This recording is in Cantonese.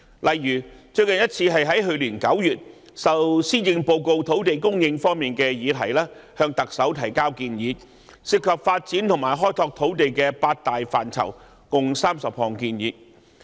例如，最近一次是在去年9月，我們就施政報告土地供應方面的議題，向特首提交涉及發展和開拓土地的八大範疇共30項建議。